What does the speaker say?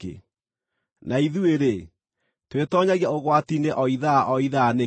Na ithuĩ-rĩ, twĩtoonyagia ũgwati-inĩ o ithaa o ithaa nĩkĩ?